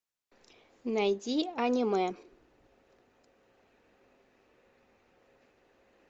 найди аниме